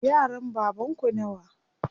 Yaran baban ku nawa?